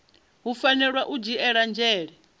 hu fanela u dzhielwa nzhele